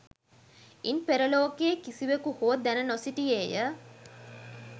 ඉන් පෙර ලෝකයේ කිසිවෙකු හෝ දැන නොසිටියේය.